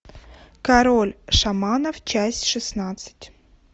король шаманов часть шестнадцать